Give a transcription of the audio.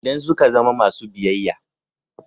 Idan suka zama masu biyayya.